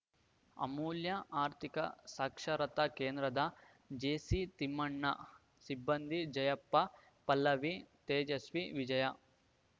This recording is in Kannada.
ಅಮೂಲ್ಯ ಆರ್ಥಿಕ ಸಾಕ್ಷರತಾ ಕೇಂದ್ರದ ಜಿಸಿತಿಮ್ಮಣ್ಣ ಸಿಬ್ಬಂದಿ ಜಯಪ್ಪ ಪಲ್ಲವಿ ತೇಜಸ್ವಿ ವಿಜಯ